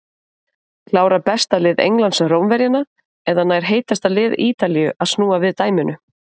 Klárar besta lið Englands Rómverjana eða nær heitasta lið Ítalíu að snúa við dæminu?